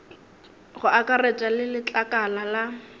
go akaretša le letlakala la